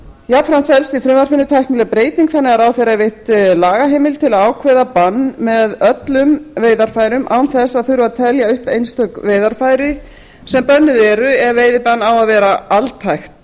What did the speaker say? jafnframt felst í frumvarpinu tæknileg breyting þannig að ráðherra er veitt lagaheimild til að ákveða bann með öllum veiðarfærum án þess að þurfa að telja upp einstök veiðarfæri sem bönnuð eru ef veiðibann á að vera altækt